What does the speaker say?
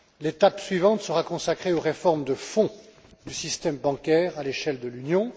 là. L'étape suivante sera consacrée aux réformes de fond du système bancaire à l'échelle de l'Union.